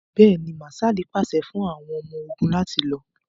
Bẹ́ẹ̀ni, Mạạṣạli paṣẹ fun àwọn ọmọ-ogun lati lọ.